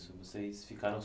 Vocês ficaram